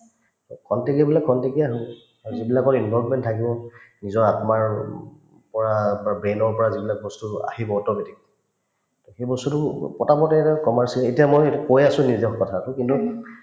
অ, খন্তেকীয়াবিলাক খন্তেকীয়া হল আৰু যিবিলাকৰ involvement থাকিব নিজৰ আত্মাৰ আৰু উম পৰা বা brain ৰ পৰা যিবিলাক বস্তু আহিব automatic সেইবস্তুতো এটা commercial এতিয়া মই কৈ আছো নিজৰ কথাটো কিন্তু